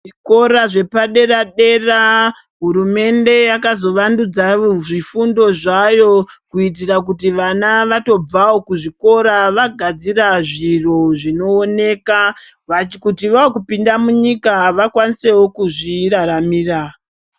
Zvikora zvepa dera dera hurumende yakazo vandudza zvifundo zvayo kuitira kuti vana vatobvawo ku zvikora vagadzira zviro zvinooneka kuti vaku pinda mu nyika vakwanisewo kuzvi raramira.